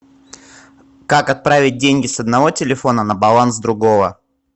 как отправить деньги с одного телефона на баланс другого